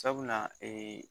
Sabula ee